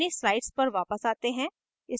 अब अपनी slides पर वापस जाते हैं